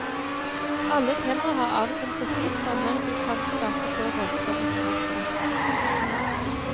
Alle temaer har avgrenset tid for når du kan skape så voldsom interesse.